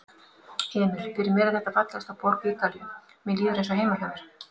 Emil: Fyrir mér er þetta fallegasta borg Ítalíu, mér líður eins og heima hjá mér.